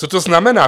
Co to znamená?